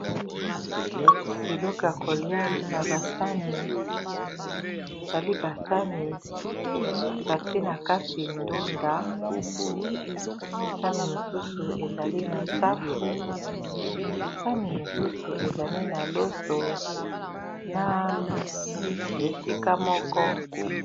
Biloko ya kolia na basani ezali basani bati na kati ndunda sani mosusu ezali na safu sani mosusu ezali na loso na bisi esika moko.